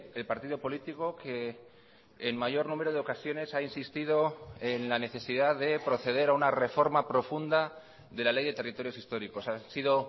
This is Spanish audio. el partido político que en mayor número de ocasiones ha insistido en la necesidad de proceder a una reforma profunda de la ley de territorios históricos han sido